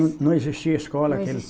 Não existia escola naquele